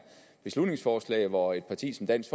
beslutningsforslag hvor et parti som dansk